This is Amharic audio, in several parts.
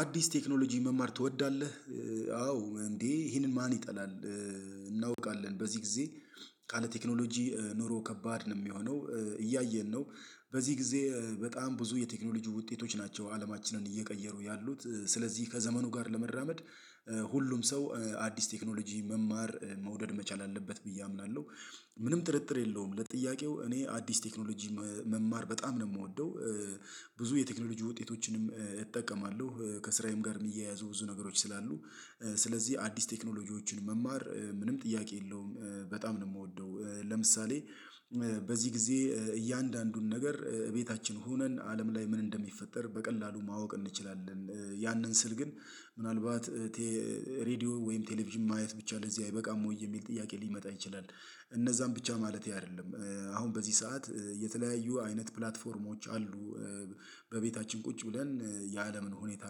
አዲስ ቴክኖሎጂ መማር ትወዳለህ? አዎ እንዴ ይሄንን ማን ይጠላል በዚህ ጊዜ ካለ ቴክኖሎጂ ኑሮ ከባድ ነው የሚሆነው እያየን ነው በዚህ በጣም ብዙ የቴክኖሎጂ ውጤቶች ናቸው አለማችንን እየቀየሩ ያሉት ስለዚህ ከዘመኑ ጋር ለመራመድ ሁሉም ሰው አዲስ ቴክኖሎጂ መማር መውደድ መቻል አለበት ብዬ አምናለሁ ምንም ጥርጥር የለውም ለጥያቄው እኔ አዲስ ቴክኖሎጂ መማር በጣም ነው የምወደው ብዙ የቴክኖሎጂ ውጤቶችንም እጠቀማለሁ ከስራዬም ጋር የሚያያዙ ብዙ ነገሮች ስላሉ ስለዚህ አዲስ ቴክኖሎጂዎችን መማር ምንም ጥያቄ የለውም በጣም ነው የምወደው ለምሳሌ በዚህ ጊዜ እያንዳንዱን ነገር ቤታችን ሆነን አለም ላይ ምን እንደሚፈጠር በቀላሉ ማወቅ እንችላለን ያንን ስል ግን ምናልባት ሬድዮ ወይም ቴሌቪዥን ማየት ብቻ ለዚህ አይበቃም ወይ የሚል ጥያቄ ሊመጣ ይችላል እነዛን ብቻ ማለቴ አይደለም አሁን በዚህ ሰዓት የተለያዩ አይነት ፕላትፎርሞች አሉ በቤታችን ቁጭ ብለን የአለምን ሁኔታ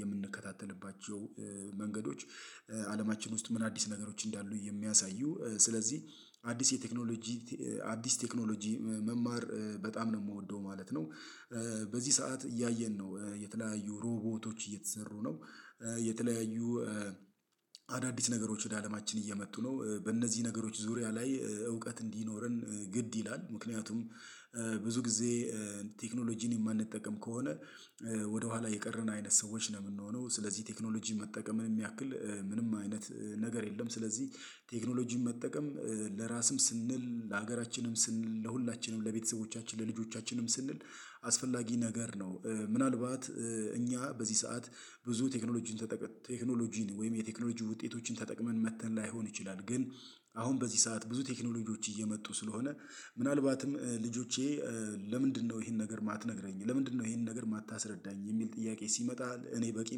የምንከታተልባቸው መንገዶች አለማችን ውስጥ ምን አዲስ ነገሮች እንዳሉ የሚያሳዩ ስለዚህ አዲስ የቴክኖሎጂ አዲስ ቴክኖሎጂ መማር በጣም ነው የምወደው ማለት ነው። በዚህ ሰዓት እያየን ነው የተለያዩ ሮቦቶች እየተሰሩ ነው። የተለያዩ አዳዲስ ነገሮች ወደ አለማችን እየመጡ ነው። በእነዚህ ነገሮች ዙሪያ ላይ እውቀት እንዲኖረን ግድ ይላል ምክንያቱም ብዙ ጊዜ ቴክኖሎጂን የማንጠቀም ከሆነ ወደኋላ የቀረን አይነት ሰዎች ነው የምንሆነው ስለዚህ ቴክኖሎጂ መጠቀምን ያክል ምንም አይነት ነገር የለም ስለዚህ ቴክኖሎጂ መጠቀም ለራስም ስንል ለሀገራችንም ስንል ለሁላችንም ለቤተሰቦቻችን ለልጆቻችንም ስንል አስፈላጊ ነገር ነው ምናልባት እኛ በዚህ ሰዓት ብዙ ቴክኖሎጂን ተጠቅመን ቴክኖሎጂን ወይም የቴክኖሎጂ ውጤቶችን ተጠቅመን መጥተን ላይሆን ይችላል ግን አሁን በዚህ ሰዓት ብዙ ቴክኖሎጂዎች እየመጡ ስለሆነ ምናልባትም ልጆቼ ለምንድነው ይሄን ነገር የማትነግረኝ ለምንድነው ይሄን ነገር የማታስረዳኝ የሚል ጥያቄ ሲመጣ እኔ በቂ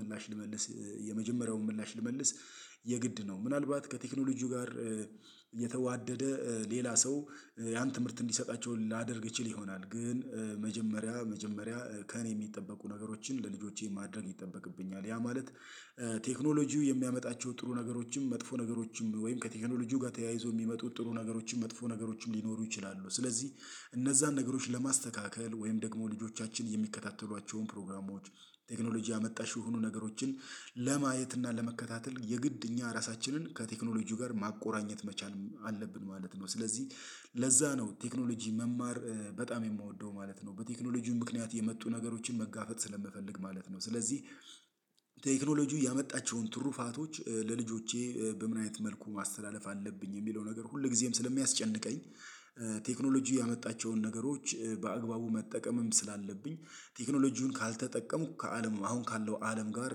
ምላሽ ልመልስ የመጀመሪያውን ምላሽ ልመልስ የግድ ነው ምናልባት ከቴክኖሎጂው ጋር የተዋደደ ሌላ ሰው ያን ትምህርት እንዲሰጣቸው ላደርግ ይችል ይሆናል ግን መጀመሪያ መጀመሪያ ከእኔ የሚጠበቁ ነገሮችን ለልጆቼ ማድረግ ይጠበቅብኛል ያ ማለት ቴክኖሎጂው የሚያመጣቸው ጥሩ ነገሮችም መጥፎ ነገሮችም ወይም ከቴክኖሎጂው ጋር ተያይዞ የሚመጡ ጥሩ ነገሮችም መጥፎ ነገሮችም ሊኖሩ ይችላሉ ስለዚህ እነዛን ነገሮች ለማስተካከል ወይም ደግሞ ልጆቻችን የሚከታተሏቸውን ፕሮግራሞች ቴክኖሎጂ አመጣሽ የሆኑ ነገሮችን ለማየት እና ለመከታተል የግድ እኛ ራሳችንን ከቴክኖሎጂው ጋር ማቆራኘት መቻል አለብን ማለት ነው ስለዚህ ለዛ ነው ቴክኖሎጂ መማር በጣም የምወደው ማለት ነው። በቴክኖሎጂው ምክንያት የመጡ ነገሮችን መጋፈጥ ስለምፈልግ ማለት ነው ስለዚህ ቴክኖሎጂው ያመጣቸውን ትሩፋቶች ለልጆቼ በምን አይነት መልኩ ማስተላለፍ አለብኝ የሚለው ነገር ሁል ጊዜም ስለሚያስጨንቀኝ ቴክኖሎጂ ያመጣቸውን ነገሮች በአግባቡ መጠቀምም ስላለብኝ ቴክኖሎጂውን ካልተጠቀምኩ ከአለም አሁን ካለው አለም ጋር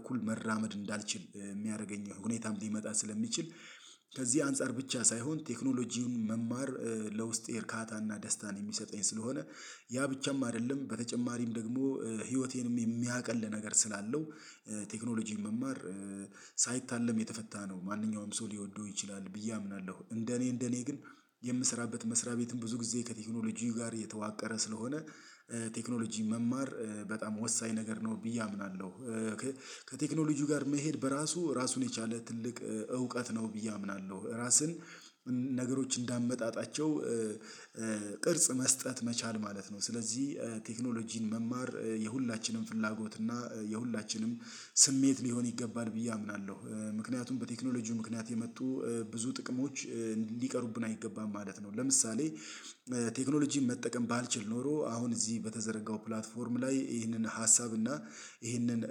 እኩል መራመድ እንዳልችል የሚያደርገኝ ሁኔታም ሊመጣ ስለሚችል ከዚህ አንፃር ብቻ ሳይሆን ቴክኖሎጂን መማር ለውስጤ እርካታና ደስታን የሚሰጠኝ ስለሆነ ያ ብቻም አይደለም በተጨማሪም ደግሞ ህይወቴንም የሚያቅል ነገር ስላለው ቴክኖሎጂን መማር ሳይታለም የተፈታ ነው ማንኛውም ሰው ሊወደው ይችላል ብዬ አምናለሁ እንደኔ እንደኔ ግን የምስራበት መስሪያ ቤትም ብዙ ጊዜ ከቴክኖሎጂው ጋር የተዋቀረ ስለሆነ ቴክኖሎጂ መማር በጣም ወሳኝ ነገር ነው ብዬ አምናለሁ። ከቴክኖሎጂው ጋር መሄድ በራሱ ራሱን የቻለ ትልቅ እውቀት ነው። ብዬ አምናለሁ እራስን ነገሮች እንዳመጣጣቸው ቅርጽ መስጠት መቻል ማለት ነው ስለዚህ ቴክኖሎጂን መማር የሁላችንም ፍላጎት እና የሁላችንም ስሜት ሊሆን ይገባል ብዬ አምናለሁ ምክንያቱም በቴክኖሎጂው ምክንያት የመጡ ብዙ ጥቅሞች እንዲቀሩብን አይገባም ማለት ነው ለምሳሌ ቴክኖሎጂን መጠቀም ባልችል ኖሮ አሁን እዚህ በተዘረጋው ፕላትፎርም ላይ ይህንን ሀሳብ እና ይህንን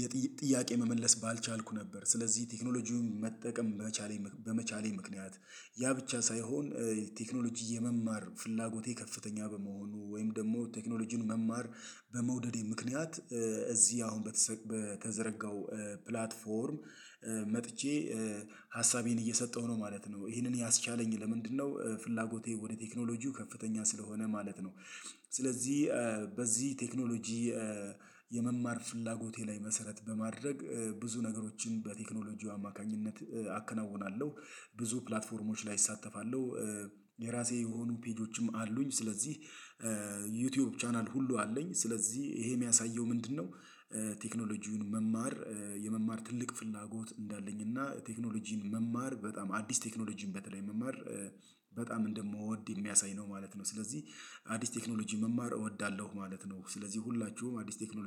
የጥያቄ መመለስ ባልቻልኩ ነበር ስለዚህ ቴክኖሎጂውን መጠቀም መቻሌ በመቻሌ ምክንያት ያ ብቻ ሳይሆን ቴክኖሎጂ የመማር ፍላጎቴ ከፍተኛ በመሆኑ ወይም ደግሞ ቴክኖሎጂን መማር በመውደዴ ምክንያት እዚህ አሁን በተዘረጋው ፕላትፎርም መጥቼ ሀሳቤን እየሰጠሁ ነው ማለት ነው ይህንን ያስቻለኝ ለምንድነው ፍላጎቴ ወደ ቴክኖሎጂው ከፍተኛ ስለሆነ ማለት ነው ስለዚህ በዚህ ቴክኖሎጂ የመማር ፍላጎቴ ላይ መሰረት በማድረግ ብዙ ነገሮችን በቴክኖሎጂው አማካኝነት አከናውናለሁ ብዙ ፕላትፎርሞች ላይ እሳተፋለሁ የራሴ የሆኑ ፔጆችም አሉኝ ስለዚህ ዩቲዩብ ቻናል ሁሉ አለኝ ስለዚህ ይሄ የሚያሳየው ምንድነው ቴክኖሎጂውን መማር የመማር ትልቅ ፍላጎት እንዳለኝ እና ቴክኖሎጂን መማር በጣም አዲስ ቴክኖሎጂን በተለይ መማር በጣም እንደምወድ የሚያሳይ ነው ማለት ነው ስለዚህ አዲስ ቴክኖሎጂ መማር እወዳለሁ ማለት ነው። ስለዚህ ሁላችሁም አዲስ ቴክኖሎጂ